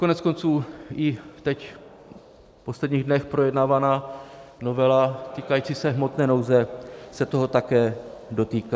Koneckonců i teď v posledních dnech projednávaná novela, týkající se hmotné nouze, se toho také dotýká.